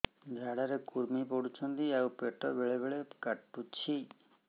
ଝାଡା ରେ କୁର୍ମି ପଡୁଛନ୍ତି ଆଉ ପେଟ ବେଳେ ବେଳେ କାଟୁଛି